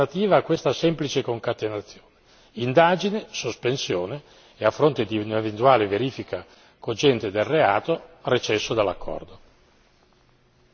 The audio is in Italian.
Io non trovo alternative a questa semplice concatenazione indagine, sospensione e a fronte di un'eventuale verifica cogente del reato, recesso dall'accordo.